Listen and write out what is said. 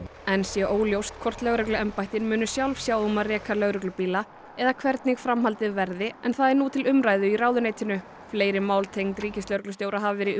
enn sé óljóst hvort lögregluembættin muni sjálf sjá um að reka lögreglubíla eða hvernig framhaldið verði en það er nú til umræðu í ráðuneytinu fleiri mál tengd ríkislögreglustjóra hafa verið